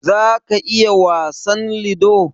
za ka iya wasan lido?